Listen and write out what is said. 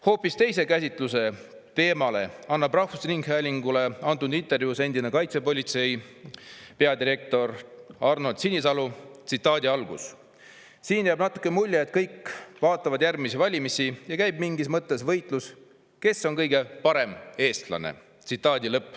Hoopis teise teemakäsitluse annab rahvusringhäälingule antud intervjuus endine Kaitsepolitsei peadirektor Arnold Sinisalu: "Siin jääb natuke mulje, et kõik vaatavad järgmisi valimisi ja käib mingis mõttes võistlus, et kes on kõige parem eestlane.